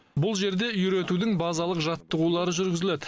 бұл жерде үйретудің базалық жаттығулары жүргізіледі